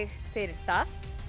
fyrir það